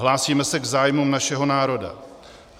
Hlásíme se k zájmům našeho národa.